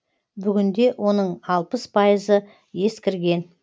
бүгінде оның алпыс пайызы ескірген